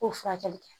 K'o furakɛli kɛ